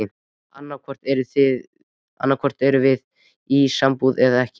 Annaðhvort erum við í sambúð eða ekki.